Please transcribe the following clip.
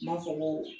N m'a fɔ ko